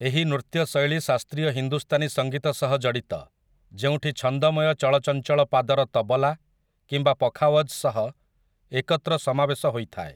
ଏହି ନୃତ୍ୟ ଶୈଳୀ ଶାସ୍ତ୍ରୀୟ ହିନ୍ଦୁସ୍ତାନୀ ସଙ୍ଗୀତ ସହ ଜଡ଼ିତ, ଯେଉଁଠି ଛନ୍ଦମୟ ଚଳଚଞ୍ଚଳ ପାଦର ତବଲା କିମ୍ବା ପଖାୱଜ୍ ସହ ଏକତ୍ର ସମାବେଶ ହୋଇଥାଏ ।